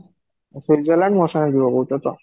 Switzerland ମୋ ସାଙ୍ଗରେ ଯିବ କହୁଛ ତ?